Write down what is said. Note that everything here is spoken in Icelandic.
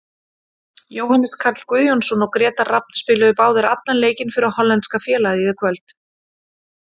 Jóhannes Karl Guðjónsson og Grétar Rafn spiluðu báðir allan leikinn fyrir hollenska félagið í kvöld.